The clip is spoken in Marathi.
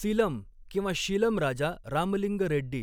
सीलम किंवा शीलम राजा रामलिंग रेड्डी